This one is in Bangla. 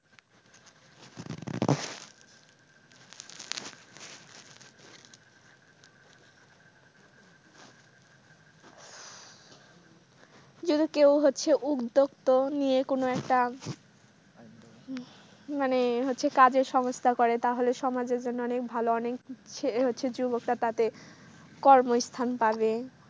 যদি কেউ হচ্ছে উদ্যোক্তা নিয়ে কোন একটা মানে হচ্ছে কাজের সংস্থান করে তাহলে সমাজের জন্য অনেক ভালো অনেক হচ্ছে যুবকরা তাতে কর্মস্থান পাবে।